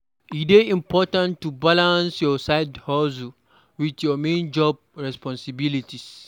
E dey important to balance your side-hustle with your main job responsibilities.